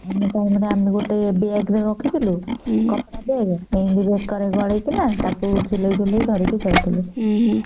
ଆମେ ତ ଆମର ଗୋଟେ ବେଗ ଟେ ରଖିଥିଲୁ କପଡା ବେଗ ଏମିତି ବେକ ରେ ଗାଲେଇକିନା ତାକୁ ଝୁଲେଇକି ଧରିକି ଯାଉଥିଲୁ